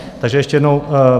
Takže ještě jednou.